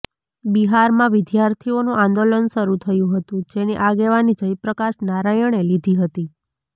બિહારમાં વિદ્યાર્થીઓનું આંદોલન શરૂ થયું હતું જેની આગેવાની જયપ્રકાશ નારાયણે લીધી હતી